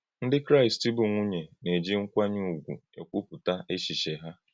Ndị Kraịst bụ́ nwùnyè na-eji nkwànyé ùgwù ekwúputa èchiche ha.